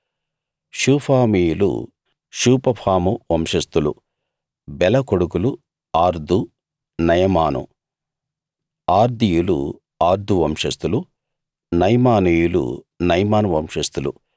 షూఫామీయులు షూపఫాము వంశస్థులు బెల కొడుకులు ఆర్దు నయమాను ఆర్దీయులు ఆర్దు వంశస్థులు నయమానీయులు నయమాను వంశస్థులు